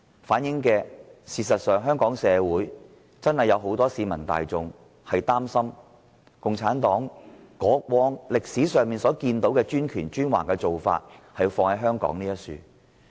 反映香港確有很多市民擔心，共產黨會把歷史上的專權和專橫做法施加於香港。